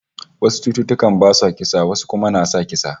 Wasu cututtuka basu sa kisa, wasu kuma na kisa